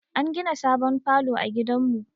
An gina sabon falo a gidan mu